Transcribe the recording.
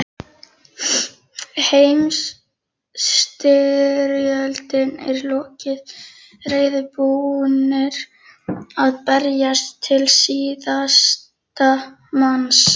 Heimsstyrjöldinni er lokið, reiðubúnir að berjast til síðasta manns.